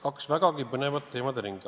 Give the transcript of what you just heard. Kaks vägagi põnevat teemade ringi.